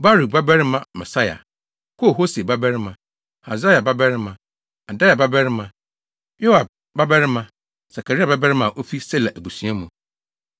Baruk babarima Maaseia, Kol-Hose babarima, Hasaia babarima, Adaia babarima, Yoiarib babarima, Sakaria babarima a ofi Sela abusua mu.